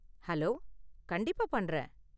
Hello, கண்டிப்பா பண்றேன்.